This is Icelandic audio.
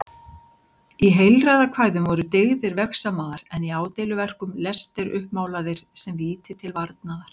Í heilræðakvæðum voru dyggðir vegsamaðar en í ádeiluverkum lestir uppmálaðir sem víti til varnaðar.